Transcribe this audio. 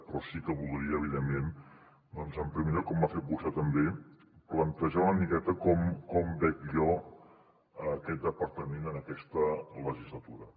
però sí que voldria en primer lloc com ha fet vostè també plantejar una miqueta com veig jo aquest departament en aquesta legislatura